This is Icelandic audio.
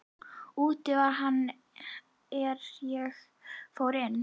Úti var hann er ég fór inn.